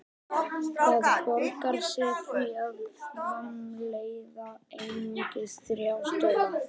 Það borgar sig því að framleiða einungis þrjá stóla.